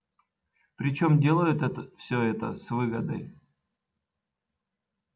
причём делают это всё это с выгодой